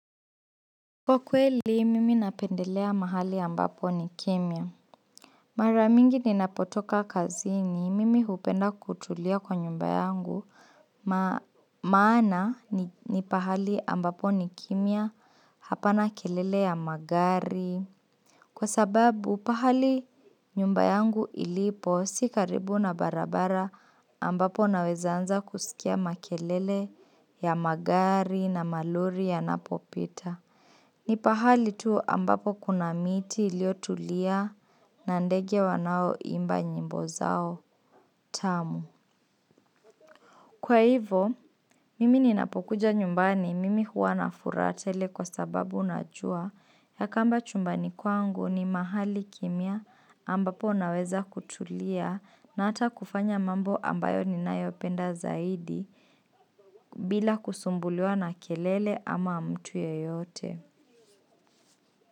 Kwa kweli, mimi napendelea mahali ambapo ni kimya. Mara mingi ninapotoka kazini mimi hupenda kutulia kwa nyumba yangu. Maana ni pahali ambapo ni kimya, hapana kelele ya magari. Kwa sababu, pahali nyumba yangu ilipo, si karibu na barabara ambapo naweza anza kusikia makelele ya magari na malori yanapopita. Ni pahali tu ambapo kuna miti iliotulia na ndege wanaoimba nyimbo zao tamu. Kwa hivo, mimi ninapokuja nyumbani mimi huwa na furaha tele kwa sababu najua ya kamba chumbani kwangu ni mahali kimya ambapo unaweza kutulia na ata kufanya mambo ambayo ninayopenda zaidi bila kusumbuliwa na kelele ama mtu yeyote.